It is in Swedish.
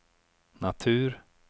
natur